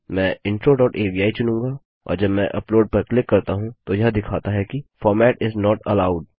मैं intro dot avi चुनूँगा और जब मैं अपलोड पर क्लिक करता हूँ तो यह दिखाता है कि फॉर्मेट इस नोट एलोव्ड